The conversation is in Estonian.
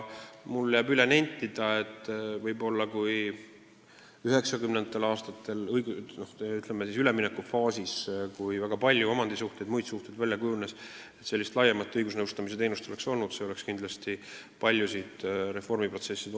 Mul jääb üle nentida, et kui üheksakümnendatel aastatel, toonases üleminekufaasis, kus väga palju uusi omandi- ja muid suhteid välja kujunes, oleks selline laiem õigusnõustamise teenus olemas olnud, oleks see kindlasti muutnud paljusid reformiotsuseid.